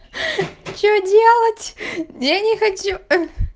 ха-ха что делать я не хочу